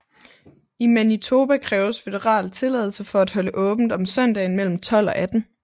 I Manitoba kræves føderal tilladelse for at holde åbent om søndagen mellem 12 og 18